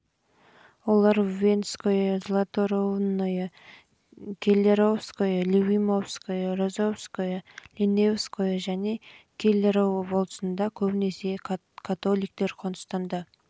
олар введенское златорунное келлеровское любимовское розовское линеевское және келлеров болысында көбінесе католиктер қоныстанды